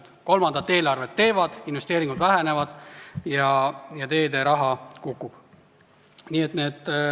Nad teevad kolmandat eelarvet, investeeringud vähenevad ja teederaha kahaneb.